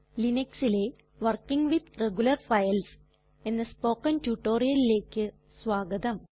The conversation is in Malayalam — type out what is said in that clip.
Linuxലെ വർക്കിങ് വിത്ത് റെഗുലർ ഫൈൽസ് എന്ന സ്പൊകെൻ റ്റൊറ്റൊരിയലിലെക് സ്വാഗതം